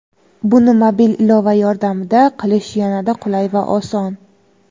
Buni mobil ilova yordamida qilish yanada qulay va oson.